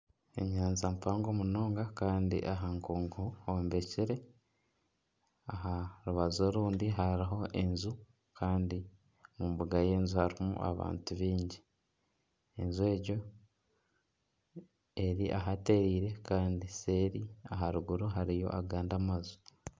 Enyanja mpango munonga kandi aha nkungu hombekire aha rubaju orundi hariho enju kandi omu mbuga y'enju harimu abantu baingi, enju egyo eri ahatereire kandi seeri aharuguru hariyo agandi amaju.